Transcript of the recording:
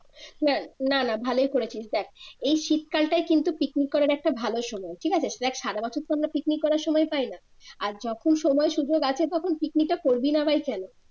হ্যা না না ভালোই করেছিস দেখ এই শীতকালটাই কিন্তু পিকনিক করার একটা ভালো সময় ঠিক আছে দেখ সারাবছর তো আমরা পিকনিক করার সময় পাইনা, আর যখন সময় সুযোগ আসে তখন পিকনিকটা করবি না ভাই কেন